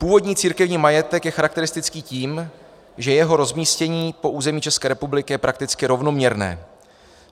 Původní církevní majetek je charakteristický tím, že jeho rozmístění po území České republiky je prakticky rovnoměrné.